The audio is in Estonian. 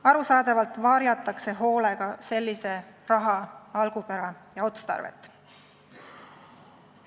Arusaadavalt varjatakse sellise raha algupära ja otstarvet hoolega.